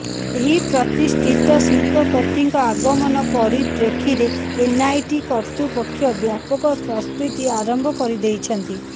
ଏହି ପ୍ରତିଷ୍ଠିତ ଶିଳ୍ପପତିଙ୍କ ଆଗମନ ପରିପ୍ରେକ୍ଷୀରେ ଏନ୍ଆଇଟି କତୃର୍ପକ୍ଷ ବ୍ୟାପକ ପ୍ରସ୍ତୁତି ଆରମ୍ଭ କରିଦେଇଛନ୍ତି